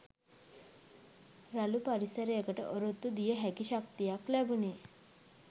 රළු පරිසරයකට ඔරොත්තු දිය හැකි ශක්තියක් ලැබුනේ